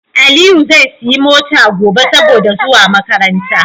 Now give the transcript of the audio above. Aliyi zai siya mota gobe saboda zuwa makaranta